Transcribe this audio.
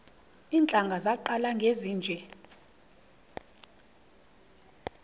iintlanga zaqala ngezinje